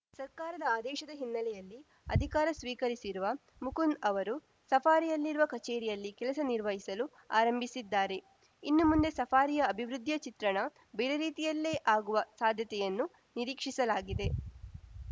ಸರ್ಕಾರದ ಆದೇಶದ ಹಿನ್ನೆಲೆಯಲ್ಲಿ ಅಧಿಕಾರ ಸ್ವೀಕರಿಸಿರುವ ಮುಕುಂದ್‌ ಅವರು ಸಫಾರಿಯಲ್ಲಿರುವ ಕಚೇರಿಯಲ್ಲಿ ಕೆಲಸ ನಿರ್ವಹಿಸಲು ಆರಂಭಿಸಿದ್ದಾರೆ ಇನ್ನು ಮುಂದೆ ಸಫಾರಿಯ ಅಭಿವೃದ್ಧಿಯ ಚಿತ್ರಣ ಬೇರೆ ರೀತಿಯಲ್ಲೇ ಆಗುವ ಸಾಧ್ಯತೆಯನ್ನು ನಿರೀಕ್ಷಿಸಲಾಗಿದೆ